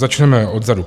Začneme odzadu.